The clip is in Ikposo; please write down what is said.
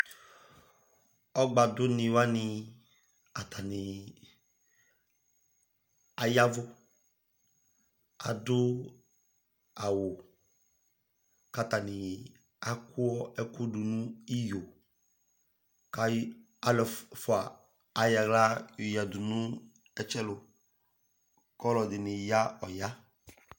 Ɔgba duni wani atani aya vu adu awu ka atani kaku ɛku du ni iyo ka alu ɛfua ayɔ awlă yɔyadu nu ɛtsɛlu kɔ ɔlu ɛdini ya ɔya